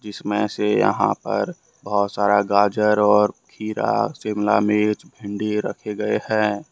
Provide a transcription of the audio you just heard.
इसमें से यहां पर बहुत सारा गाजर और खीरा शिमला मिर्च भिंडी रखे गए हैं।